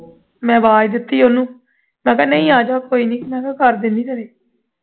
ਮੈਂ ਵਾਜ਼ ਦਿੱਤੀ ਉਹਨੂੰ ਮੈਂ ਕਿਹਾ ਆਜਾ ਕੋਈ ਨਹੀਂ ਕਰਦੇ ਨਹੀ ਹਾਂ ਤੇਰੇ